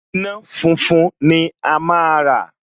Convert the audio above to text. Iná funfun ni a máa rà